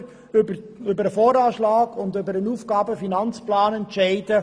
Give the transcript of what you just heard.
Wir müssen im November über den Voranschlag und über den Aufgaben-/Finanzplan (AFP) entscheiden.